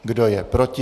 Kdo je proti?